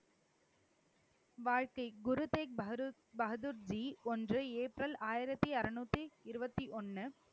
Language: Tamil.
வாழ்க்கை குரு தேக் பகதூர் பகதூர்ஜி ஒன்று ஏப்ரல் ஆயிரத்தி அறுநூத்தி இருபத்தி ஒண்ணு.